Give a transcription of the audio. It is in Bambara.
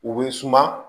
U bɛ suma